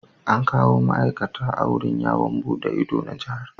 An kawo ma'aikata a wurin yawo buɗe ido na Jihar.